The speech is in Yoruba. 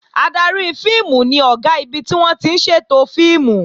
Adarí fíìmù ni Ọ̀gá ibi tí wọ́n ti ń ṣètò fíìmù